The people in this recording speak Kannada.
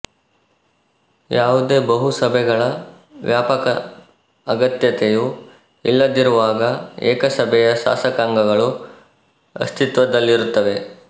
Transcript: ಯಾವುದೇ ಬಹುಸಭೆಗಳ ವ್ಯಾಪಕ ಅಗತ್ಯತೆಯು ಇಲ್ಲದಿರುವಾಗ ಏಕಸಭೆಯ ಶಾಸಕಾಂಗಗಳು ಅಸ್ತಿತ್ವದಲ್ಲಿರುತ್ತವೆ